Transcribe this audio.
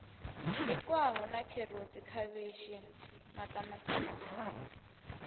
bikwaho sa kherotsi khavhishi maṱamaṱisi